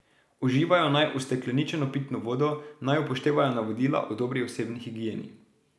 Uživajo naj ustekleničeno pitno vodo, naj upoštevajo navodila o dobri osebni higieni.